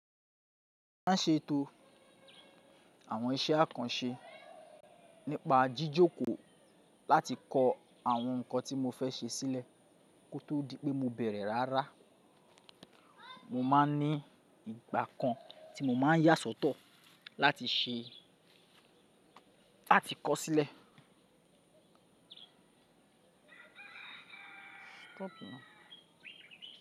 Má ṣe tó àwọn iṣẹ́ àkànṣe nípa jíjókòó láti kọ àwọn nǹkan tí mo fẹ́ ṣe sílẹ̀ kó tó di pé mo bẹ̀rẹ̀ rárá. Mo má n ní ìgbà kan tí mo má n yà sọ́tọ̀ láti ṣe, láti kọ sílẹ̀. Stop now.